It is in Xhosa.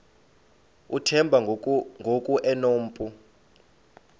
uthemba ngoku enompu